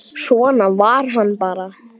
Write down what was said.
Svona var hann bara.